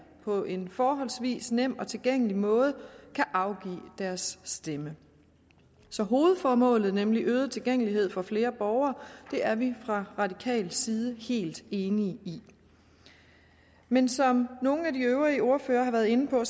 på en forholdsvis nem og tilgængelig måde kan afgive deres stemme så hovedformålet nemlig øget tilgængelighed for flere borgere er vi fra radikal side helt enige i men som nogle af de øvrige ordførere har været inde på